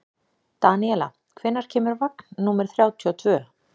Daníela, hvenær kemur vagn númer þrjátíu og tvö?